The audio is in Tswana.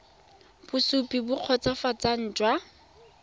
bosupi jo bo kgotsofatsang jwa